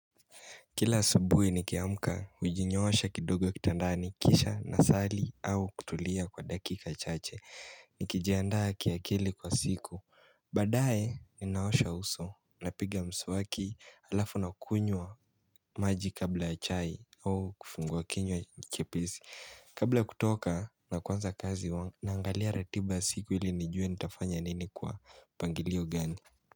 Kila asubuhi nikiamka, hujinyoosha kidogo kitandani, kisha, nasali, au kutulia kwa dakika chache. Nikijiandaa kiakili kwa siku. Baadae, ninaosha uso, ninapiga mswaki, alafu ninakunywa maji kabla ya chai au kufungwa kinywa chepesi. Kabla ya kutoka na kuanza kazi, huwa naangalia ratiba ya siku ili nijue nitafanya nini kwa mpangilio gani?